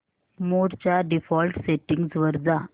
मोड च्या default settings वर जा